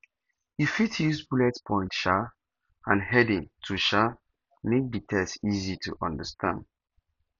you fit use bullet points um and heading to um make di text easy to understand